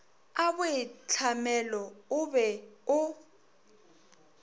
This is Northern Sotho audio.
a boitlhamelo o be o